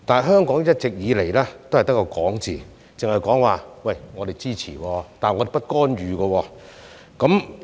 可是，一直以來，香港也只是口講支持，但卻不干預。